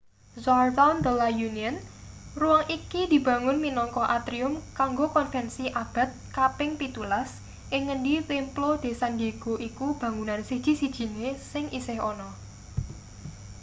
jardín de la unión. ruang iki dibangun minangka atrium kanggo konvensi abad kaping-17 ing ngendi templo de san diego iku bangunan siji-sijine sing isih ana